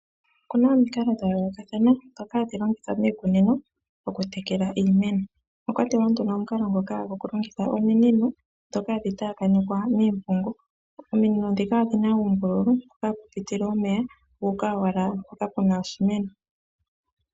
Okuna omikalo dha yoolokathana dhoka hadhi longithwa miikunino okutekela iimeno, omwakwatelwa nduno omukalo ngoka gokulongitha ominino dhoka hadhi taakanekwa miipungu ,ominino dhika odhina uumbululu mpoka hapu pitile omeya guuka owala mpoka pena oshimeno.